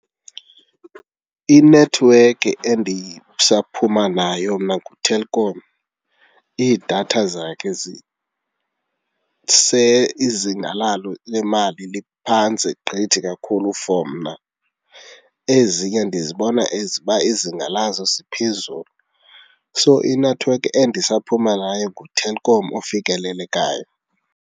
Inethiwekhi endisaphuma nayo mna nguTelkom. Iidatha zakhe izinga lalo lemali liphantsi gqithi kakhulu for mna. Ezinye ndizibona as uba izinga lazo ziphezulu. So inethiwekhi endisaphuma nayo nguTelkom ofikelelekayo.